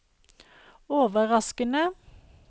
overraskende